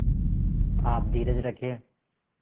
आप धीरज रखें